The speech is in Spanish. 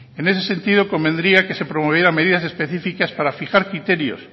en ese sentido convendría que se promovieran medidas específicas para fijar criterios